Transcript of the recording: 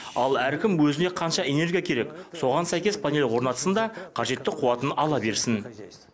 ал әркім өзіне қанша энергия керек соған сәйкес панель орнатсын да қажетті қуатын ала берсін